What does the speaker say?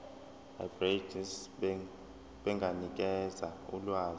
abegcis benganikeza ulwazi